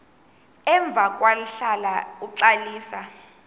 emva kwahlala uxalisa